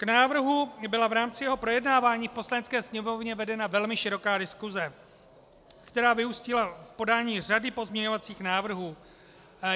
K návrhu byla v rámci jeho projednávání v Poslanecké sněmovně vedena velmi široká diskuse, která vyústila v podání řady pozměňovacích návrhů.